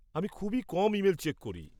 -আমি খুবই কম ইমেল চেক করি।